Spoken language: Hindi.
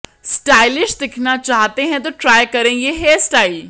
स्टाइलिश दिखना चाहते है तो ट्राई करें ये हेयरस्टाइल